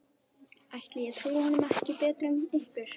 Ætli ég trúi honum ekki betur en ykkur.